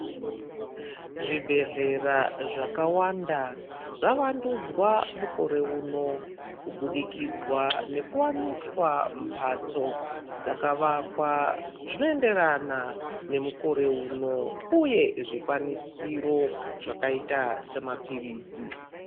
Zvibhehlera zvakawanda zvavandudzwa koreuno kubudikidza nekuwaniswa mbatso dzakavakwa zvinoenderana nemukore uno uye zvikwanisiro zvakaita semapilisi.